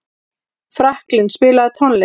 Franklín, spilaðu tónlist.